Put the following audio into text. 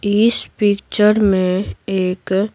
इस पिक्चर में एक।